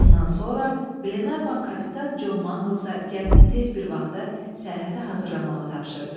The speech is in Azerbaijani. Bundan sonra Glenarvan Kapitan Con Manglesa gəmini tez bir vaxtda səyahətə hazırlamağı tapşırdı.